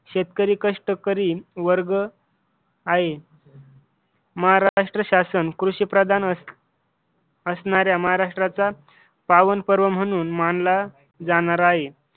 शेतकरी कष्टकरी वर्ग आहे. महाराष्ट्र शासन कृषी प्रधान असणाऱ्या महाराष्ट्राचा पावन पर्व म्हणून मानला जाणार आहे.